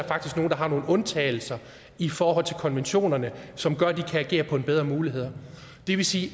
faktisk har nogle undtagelser i forhold til konventionerne som gør at de kan agere bedre på mulighederne det vil sige at